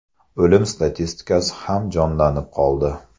O‘lim statistikasi ham jonlanib qoldi.